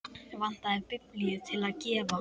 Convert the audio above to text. Vantaði biblíu til að gefa.